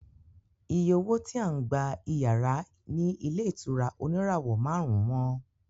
Iye owó tí à ń gba iyàrá ní ilé ìtura oníràwọ̀ márùn-ún wọ́n